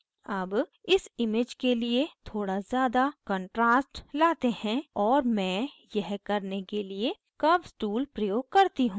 अब इस image के लिए थोड़ा ज़्यादा contrast लाते हैं और मैं यह करने के लिए curves tool प्रयोग करती हूँ